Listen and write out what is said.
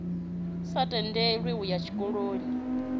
sa tendelwi u ya zwikoloni